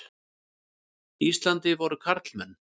Íslandi voru karlmenn.